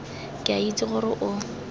ke a itse gore o